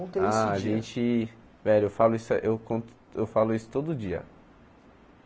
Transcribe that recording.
esse dia Ah, a gente... velho, eu falo isso eu con eu falo isso todo dia.